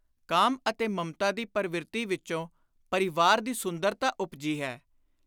ਕਾਮ ਅਤੇ ਮਮਤਾ ਦੀ ਪਰਵਿਰਤੀ ਵਿਚੋਂ ਪਰਿਵਾਰ ਦੀ ਸੁੰਦਰਤਾ ਉਪਜੀ ਹੈ।